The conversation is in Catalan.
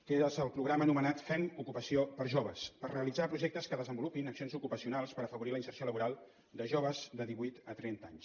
que és el programa anomenat fem ocupació per a joves per realitzar projectes que desenvolupin accions ocupacionals per afavorir la inserció laboral dels joves de divuit a trenta anys